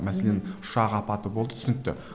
мәсенлен ұшақ апаты болды түсінікті